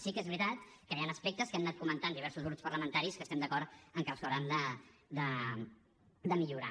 sí que és veritat que hi han aspectes que han anat comentant diversos grups parlamentaris que estem d’acord en que s’hauran de millorar